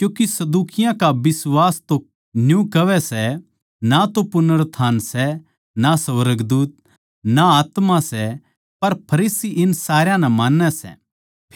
क्यूँके सदूकियाँ का बिश्वास तो न्यू कहवै सै के ना पुनरुत्थान सै ना सुर्गदूत अर ना आत्मा सै पर फरीसी इन सारया नै मान्नैं सै